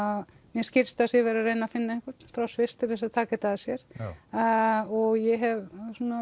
mér skilst að það sé verið að reyna að finna einhvern frá Sviss til þess að taka þetta að sér og ég hef